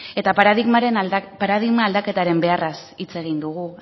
eta paradigma aldaketaren beharraz hitz egin dugu